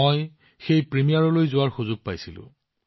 মই প্ৰিমিয়াৰ চোৱাৰ সুযোগ পাইছিলো